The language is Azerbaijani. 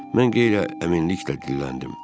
Mən incəliklə əminliklə dedim.